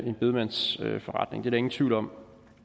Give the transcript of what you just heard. en bedemandsforretning det er der ingen tvivl om